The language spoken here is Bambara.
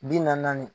Bi naani naani